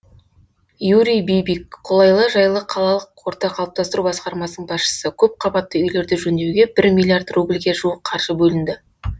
юрий бибик қолайлы жайлы қалалық орта қалыптастыру басқармасының басшысы көпқабатты үйлерді жөндеуге бір миллиард рубльге жуық қаржы бөлінді